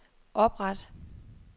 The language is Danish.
opret